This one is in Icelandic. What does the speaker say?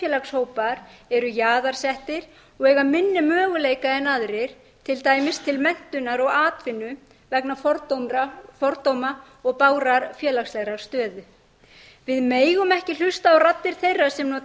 með sér ef einstakir þjóðfélagshópar eru jaðarsettir og eiga minni möguleika en aðrir til dæmis til menntunar og atvinnu vegna fordóma og bágrar félagslegrar stöðu við megum ekki hlusta á raddir þeirra sem nota